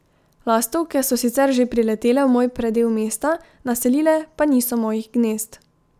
Lastovke so sicer že priletele v moj predel mesta, naselile pa niso mojih gnezd.